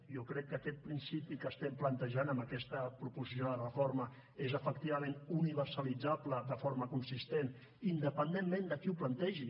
jo crec que aquest principi que estem plantejant amb aquesta proposició de reforma és efectivament universalitzable de forma consistent independentment de qui ho plantegi